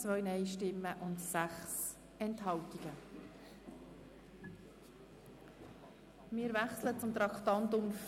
Ich bitte Grossrat Löffel-Wenger, diesen zu begründen.